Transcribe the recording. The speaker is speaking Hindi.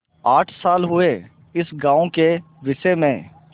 आठ साल हुए इस गॉँव के विषय में